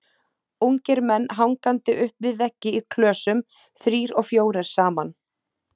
Ungir menn hangandi upp við veggi í klösum, þrír og fjórir saman.